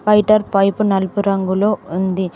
Waiter pipe నలుపు రంగులో ఉంది.